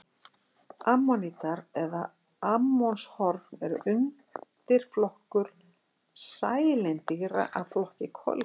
Ammonítar eða ammonshorn er undirflokkur sælindýra af flokki kolkrabba.